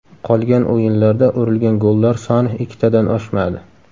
Qolgan o‘yinlarda urilgan gollar soni ikkitadan oshmadi.